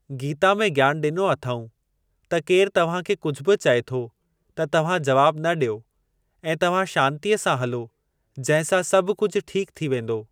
गीता में ज्ञान ॾिनो अथऊं त केर तव्हां खे कुझु बि चए थो त तव्हां जवाब न ॾियो ऐं तव्हां शांतिअ सां हलो जंहिं सां सभु कुझु ठीकु थी वेंदो।